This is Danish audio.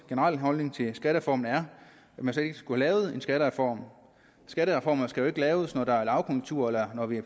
generelle holdning til skattereformen er at man slet ikke skulle have lavet en skattereform skattereformer skal jo ikke laves når der er lavkonjunktur eller når vi er